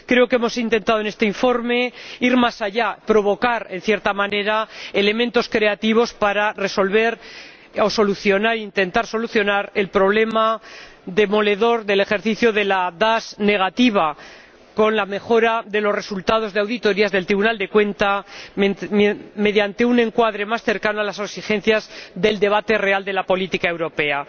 Creo que hemos intentado en este informe ir más allá, provocar, en cierta manera, elementos creativos para resolver o intentar solucionar el problema demoledor del ejercicio de la DAS negativa con la mejora de los resultados de las auditorías del Tribunal de Cuentas mediante un encuadre más cercano a las exigencias del debate real de la política europea.